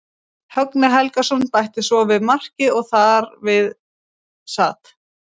Högni Helgason bætti svo við marki og þar við sat.